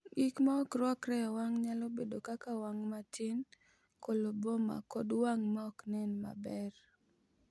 Gik ma ok rwakore e wang’ nyalo bedo kaka wang’ matin, koloboma, kod wang’ ma ok nen maber.